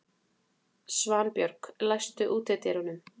Svanbjörg, læstu útidyrunum.